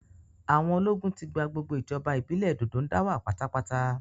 Àwọn ológun ti gba gbogbo ìjọba ìbílẹ̀ Dòdóńdáwà pátápátá